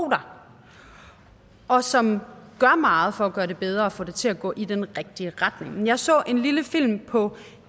der og som gør meget for at gøre det bedre og få det til at gå i den rigtige retning jeg så en lille film på